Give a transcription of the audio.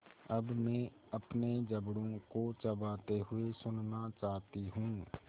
अब मैं अपने जबड़ों को चबाते हुए सुनना चाहती हूँ